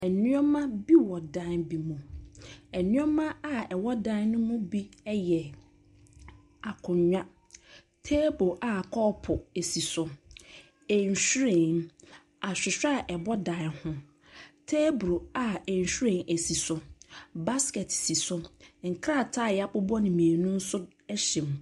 Nneɔma bi wɔ dan bi mu. nneɔma bi a ɛwɔ dan no mu bi ɛyɛ akonya, teebul a kɔɔpo esi so, nhwiren, ahwehwɛ a ɛbɔ dan ho, teebul a nhwiren si so. Baskɛt si so, nkrataa a yabobɔ no mmienu nso si so.